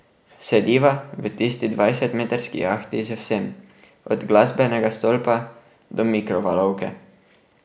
Sediva v tisti dvajsetmetrski jahti z vsem, od glasbenega stolpa do mikrovalovke.